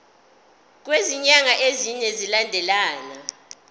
kwezinyanga ezine zilandelana